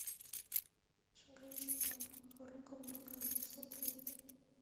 шагающий дом харуки мураками смотреть